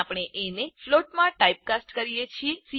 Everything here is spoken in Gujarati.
અહીં આપણે એ ને ફ્લોટમાં ટાઇપ કાસ્ટ કરીએ છીએ